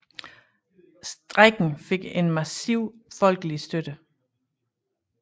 Strejken fik en massiv folkelig støtte